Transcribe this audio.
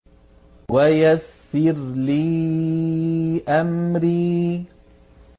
وَيَسِّرْ لِي أَمْرِي